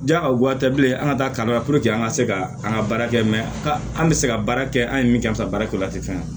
Ja ka goya tɛ bilen an ka taa kalan na puruke an ka se ka an ka baara kɛ an bɛ se ka baara kɛ an ye min kɛ an bɛ se baara kɛ la tɛ fɛn ye